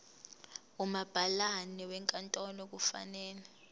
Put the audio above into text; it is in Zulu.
umabhalane wenkantolo kufanele